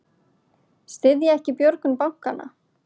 Styðja ekki björgun bankanna